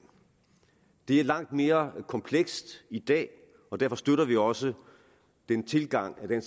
det er langt mere komplekst i dag og derfor støtter vi også den tilgang at det